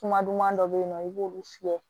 Kuma duman dɔ bɛ yen nɔ i b'olu fiyɛ